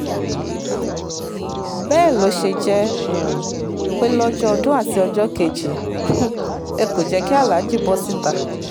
bẹ́ẹ̀ ló ṣe jẹ́ um pé lọ́jọ́ ọdún àti ọjọ́ kejì um ẹ̀ kò jẹ́ kí aláàjì bọ́ síta